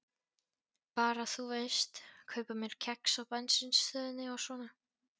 Bara, þú veist, kaupa mér kex á bensínstöðinni og svona.